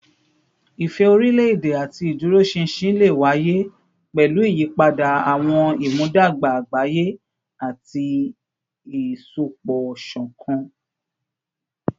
Ìfẹ́ orílẹ̀-èdè àti ìdúróṣinṣin lè wáyé pẹ̀lú ìyípadà àwọn ìmúdàgba àgbáyé àti ìsopọ̀ṣọ̀kan